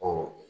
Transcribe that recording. Ɔ